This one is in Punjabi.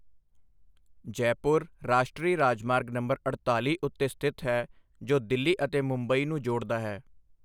ਜੈਪੁਰ ਰਾਸ਼ਟਰੀ ਰਾਜਮਾਰਗ ਨੰਬਰ ਅੜਤਾਲੀ ਉੱਤੇ ਸਥਿਤ ਹੈ ਜੋ ਦਿੱਲੀ ਅਤੇ ਮੁੰਬਈ ਨੂੰ ਜੋੜਦਾ ਹੈ।